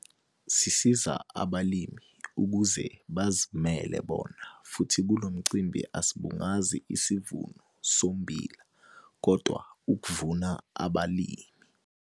Sisiza abalimi ukuze bazilimele bona futhi kulo mcimbi asibungazi isivuno sommbila, kodwa ukuvuna abalimi.'